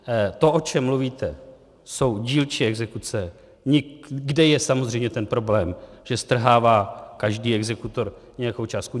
To, o čem mluvíte, jsou dílčí exekuce, kde je samozřejmě ten problém, že strhává každý exekutor nějakou částku.